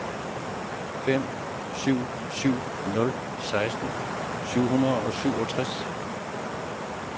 fem syv syv nul seksten syv hundrede og syvogtres